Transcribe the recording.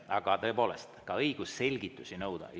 Aga tõepoolest, on ka õigus selgitusi nõuda.